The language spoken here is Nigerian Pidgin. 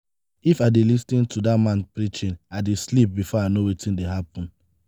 if i dey lis ten to dat man preaching i dey sleep before i no wetin dey happen.